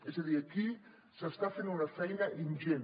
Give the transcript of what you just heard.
és a dir aquí s’està fent una feina ingent